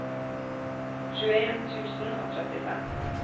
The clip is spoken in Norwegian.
tjueen tusen og trettifem